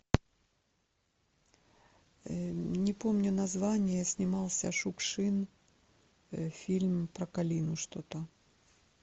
не помню название снимался шукшин фильм про калину что то